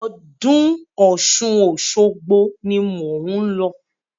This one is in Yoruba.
Ọdún Ọ̀ṣun Òṣogbo ni mò ń lọ.